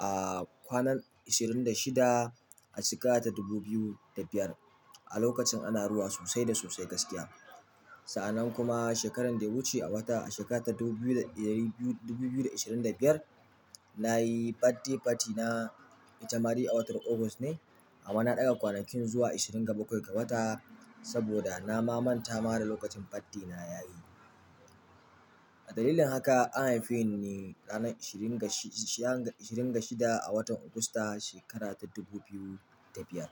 A kwanan ishirin da shida a shekara ta dubu biyu da biyar a lokacin ana ruwa sosai da sosai gaskiya. Sa'anan kuma shekaran da ya wuce a wata a shekara ta dubu biyu da ishirin da biyar, nayi birthday party na itama dai a watan August ne amma na ɗaga kwanakin zuwa ishirin ga bakwai ga wata saboda nama manta ma da lokacin birthday na yayi. Da dalilin haka an haife ni ranar ishirin ga shida a watan Augusta shekara ta dubu biyu da biyar.